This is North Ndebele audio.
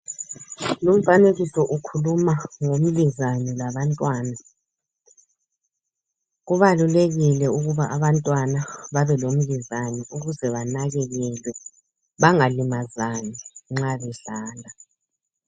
Lumfanekiso ukhuluma ngomlizane labantwana. Kubalulekile ukuba abantwana babe lomlizane ukuze banakekelwe, bangalimazani nxa bedlala.